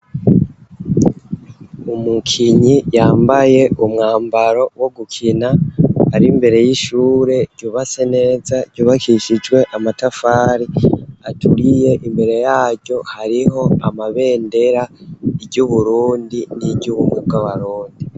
Umukinyi yambaye umwambaro wo gukina ari mbere y'ishure ryubase neza ryubakishijwe amatafari aturiye imbere yaryo hariho amabendera iryouburundi n'iryo ubumubwabarundi.